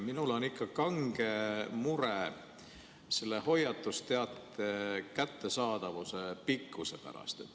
Minul on ikka kange mure selle hoiatusteate kättesaadavuse aja pikkuse pärast.